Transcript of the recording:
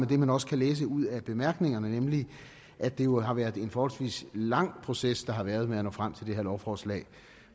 det man også kan læse ud af bemærkningerne nemlig at det jo har været en forholdsvis lang proces der har været med at nå frem til det her lovforslag